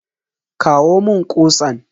Kawo mun kutsan.